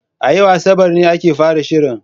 A yau Asabar ne aka fara shirin.